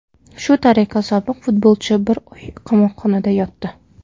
Shu tariqa, sobiq futbolchi bir oy qamoqxonada yotdi.